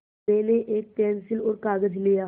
मैंने एक पेन्सिल और कागज़ लिया